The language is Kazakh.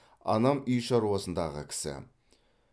анам үй шаруасындағы кісі